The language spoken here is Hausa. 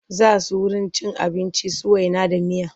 Za su wurin cin abinci su waina da miya.